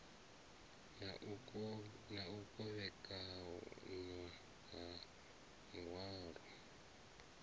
na u kovhekanywa ha muhwalo